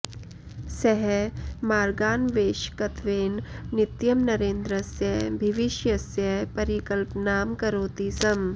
सः मार्गान्वेषकत्वेन नित्यं नरेन्द्रस्य भिविष्यस्य परिक्लपनां करोति स्म